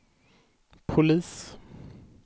polis